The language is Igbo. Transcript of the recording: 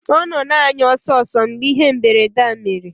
Ọ nọ na-anya ọsọ ọsọ mgbe ihe mberede a mere